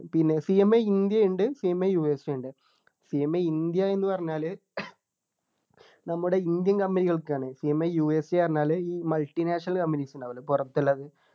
പിന്നെ CMA India ഉണ്ട് CMAUSA ഉണ്ട് CMA ഇന്ത്യ എന്ന് പറഞ്ഞാൽ നമ്മുടെ indian company കൾക്ക് ആണ് CMAUSA എന്ന് പറഞ്ഞാൽ ഈ multi national companies ഉണ്ടാവില്ലേ പുറത്തുള്ളത്